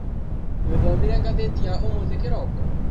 Nĩũthomire ngathĩti ya ũmũthĩ kĩroko?